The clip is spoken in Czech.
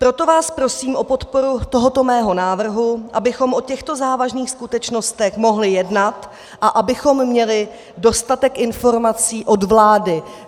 Proto vás prosím o podporu tohoto mého návrhu, abychom o těchto závažných skutečnostech mohli jednat a abychom měli dostatek informací od vlády.